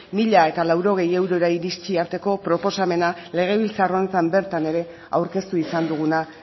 mila laurogei eurora iritsi arteko proposamena legebiltzar honetan bertan aurkeztu izan duguna